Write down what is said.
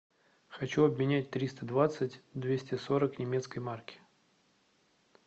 хочу обменять триста двадцать двести сорок немецкой марки